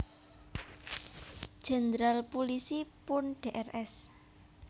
Jenderal Pulisi Purn Drs